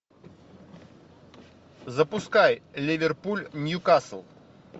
запускай ливерпуль ньюкасл